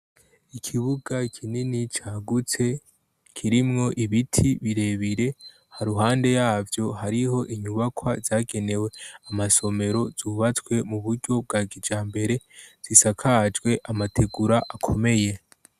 Ikibuga kinini cagutse kirimwo ibiti birebire haruhande yavyo hariho inyubakwa zagenewe amasomero zubatswe mu buryo bwa kijambere zisakajwe amategura akomeye.